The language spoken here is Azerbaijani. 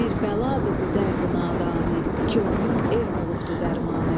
Bir bəladır bu dərdi-nadanı, ki onun elm olubdu dərmanı.